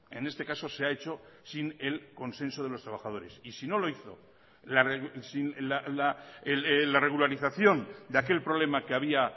en este caso se ha hecho sin el consenso de los trabajadores y si no lo hizo la regularización de aquel problema que había